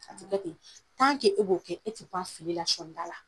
A ti kɛ ten. Tan ke e b'o kɛ je t'ai bɔ a fili la sɔni dala.